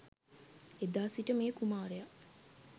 එදා සිට මේ කුමාරයා